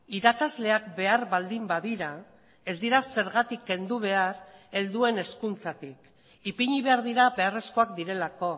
irakasleak behar baldin badira ez dira zergatik kendu behar helduen hezkuntzatik ipini behar dira beharrezkoak direlako